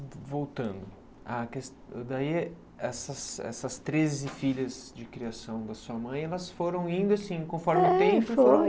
voltando, essas essas treze filhas de criação da sua mãe elas foram indo assim, conforme o tempo?